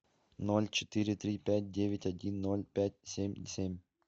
ноль четыре три пять девять один ноль пять семь семь